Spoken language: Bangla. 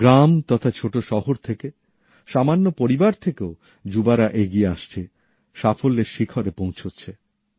গ্রাম তথা ছোট শহর থেকে সামান্য পরিবার থেকেও যুবকযুবতীরা এগিয়ে আসছেন সাফল্যের শিখরে পৌঁছচ্ছে্ন